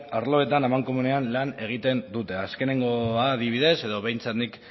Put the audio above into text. arloetan amankomunean lan egiten dute azkenengoa adibidez edo behintzat nik